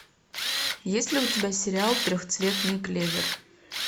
есть ли у тебя сериал трехцветный клевер